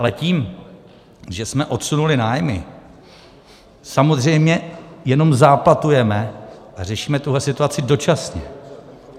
Ale tím, že jsme odsunuli nájmy, samozřejmě jenom záplatujeme a řešíme tuhle situaci dočasně.